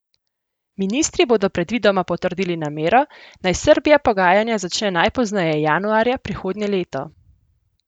Ministri bodo predvidoma potrdili namero, naj Srbija pogajanja začne najpozneje januarja prihodnje leto.